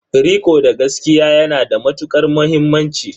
Riko da gaskiya ya na da matuƙar muhimmanci.